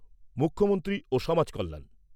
মুখ্যমন্ত্রী সমাজ কল্যাণ